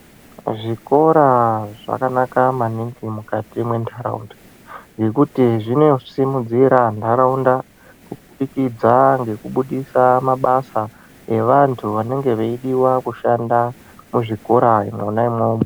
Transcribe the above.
Zvikora zvakanaka maningi mukati mendaraunda ngekuti zvinosimudzira ndaraunda mubudikidza mekubudisa mabasa evantu vanenge veidiwa kushanda muzvikora mwona imomo.